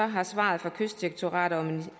har svaret fra kystdirektoratet og